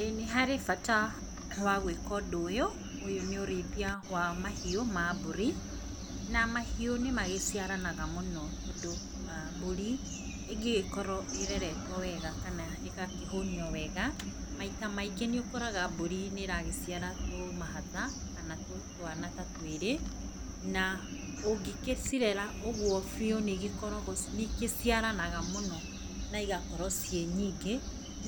ĩĩ nĩharĩ bata wa gwĩka ũndũ ũyũ, ũyũ nĩ ũrĩithia wa mahiũ ma mbũri, na mahiũ nĩ magĩciaranaga mũno, tondũ aah mbũri ĩngĩgĩkorwo ĩreretwo wega, kana ĩgakĩhũnio wega, maita maingĩ nĩũkoraga mbũri nĩ ragĩciara tũmahatha, kana tũ twana ta twĩrĩ, na ũngĩkĩcirera ũguo biũ nĩ igĩkoragwo nĩ ikĩciranaga mũno igakorwo ciĩ nyingĩ,